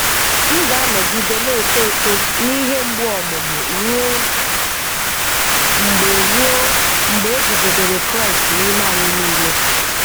M ga-anọgide na-eto eto n'ihe mgbu ọmụmụ ruo mgbe ruo mgbe e guzobere Kraịst n'ime anyị niile.